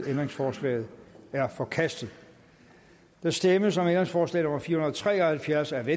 ændringsforslaget er forkastet der stemmes om ændringsforslag nummer fire hundrede og tre og halvfjerds af v